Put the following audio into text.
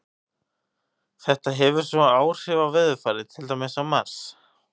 Þetta hefur svo áhrif á veðurfarið, til dæmis á Mars.